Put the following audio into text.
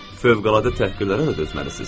Fövqəladə təhqirlərə də dözməlisiniz.